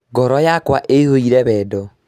Ngoro yakwa ĩyũire wendo